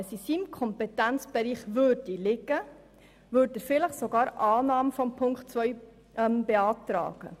Läge dies im Kompetenzbereich des Regierungsrats, würde er vielleicht sogar die Annahme von Ziffer 2 beantragen.